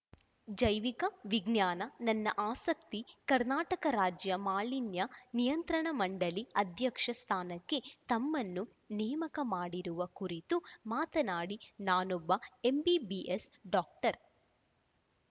ಜೈವಿಕ ವಿಜ್ಞಾನ ನನ್ನ ಆಸಕ್ತಿ ಕರ್ನಾಟಕ ರಾಜ್ಯ ಮಾಲಿನ್ಯ ನಿಯಂತ್ರಣ ಮಂಡಳಿ ಅಧ್ಯಕ್ಷ ಸ್ಥಾನಕ್ಕೆ ತಮ್ಮನ್ನು ನೇಮಕ ಮಾಡಿರುವ ಕುರಿತು ಮಾತನಾಡಿ ನಾನೊಬ್ಬ ಎಂಬಿಬಿಎಸ್‌ ಡಾಕ್ಟರ್‌